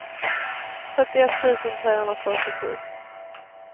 trettioett tusen trehundrafyrtiosju